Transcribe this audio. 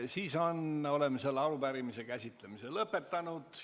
Siis oleme selle arupärimise käsitlemise lõpetanud.